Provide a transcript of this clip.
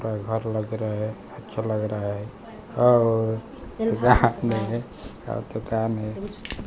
घर लग रहा है अच्छा लग रहा है और यहां में और दुकान है--